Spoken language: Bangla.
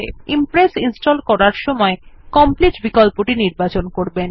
মনে রাখবেনImpress ইনস্টল করার সময় কমপ্লিট বিকল্পটি নির্বাচন করবেন